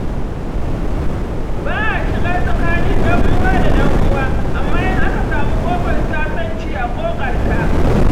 Ba a shiga tsakanin ɗan'uwa da ɗan'uwa, amma in aka samu ƙofar sasanci a ƙoƙarta.